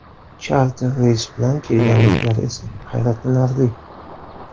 Charter reys bilan kelganliklari esa hayratlanarli.